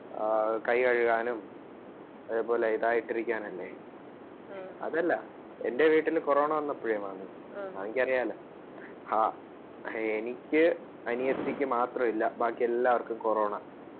ആ കികഴുകാനും അതുപോലെ ഇതായിട്ടു ഇരിക്കാൻ അല്ലെ, അതല്ല എന്റെ വീട്ടിൽ corona വന്നപ്പോഴേ മാമി മമ്മിക്ക് അറിയാലോ ആ എനിക്ക് അനിയത്തിക്ക് മാത്രം ഇല്ല ബാക്കി എല്ലാർക്കും corona.